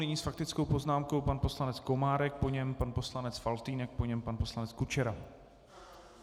Nyní s faktickou poznámkou pan poslanec Komárek, po něm pan poslanec Faltýnek, po něm pan poslanec Kučera.